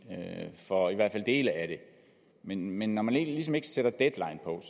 for i hvert fald dele af det men men når man ligesom ikke sætter deadline på